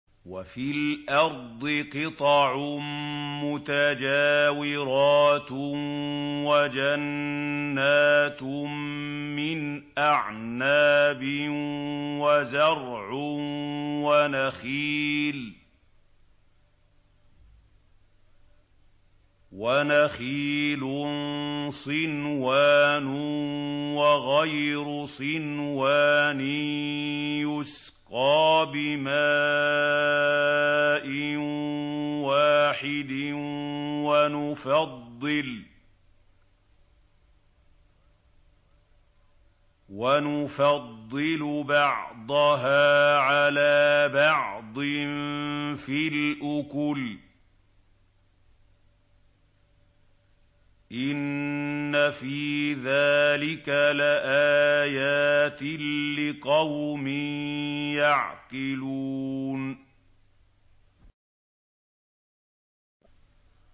وَفِي الْأَرْضِ قِطَعٌ مُّتَجَاوِرَاتٌ وَجَنَّاتٌ مِّنْ أَعْنَابٍ وَزَرْعٌ وَنَخِيلٌ صِنْوَانٌ وَغَيْرُ صِنْوَانٍ يُسْقَىٰ بِمَاءٍ وَاحِدٍ وَنُفَضِّلُ بَعْضَهَا عَلَىٰ بَعْضٍ فِي الْأُكُلِ ۚ إِنَّ فِي ذَٰلِكَ لَآيَاتٍ لِّقَوْمٍ يَعْقِلُونَ